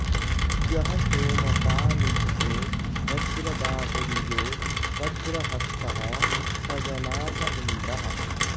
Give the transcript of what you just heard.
यः सो॑म॒पा नि॑चि॒तो वज्र॑बाहु॒र्यो वज्र॑हस्तः॒ स ज॑नास॒ इन्द्रः॑